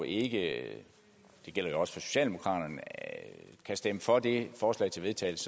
ikke det gælder også for socialdemokraterne kan stemme for det forslag til vedtagelse